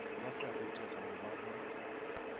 ba sa rutegago ba ba